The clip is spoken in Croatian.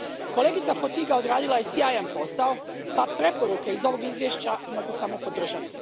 Kolegica Fotyga odradila je sjajan posao, pa preporuke iz ovog izvješća mogu samo podržati.